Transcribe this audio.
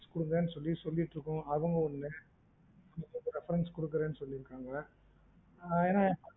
குடுங்கன்னு சொல்லி சொல்லிட்டிருக்கோம். அதுவும் இல்ல. இப்ப நீங்க reference குடுக்குருறன்னு சொல்லீருக்காங்க. ஆஹ் ஏன்னா